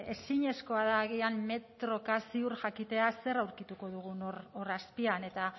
ezinezkoa da agian metroka ziur jakitea zer aurkituko dugun hor azpian eta